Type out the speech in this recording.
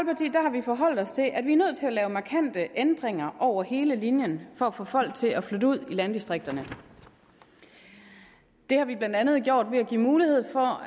vi forholdt os til at vi er nødt til at lave markante ændringer over hele linjen for at få folk til at flytte ud i landdistrikterne det har vi blandt andet gjort ved at give mulighed for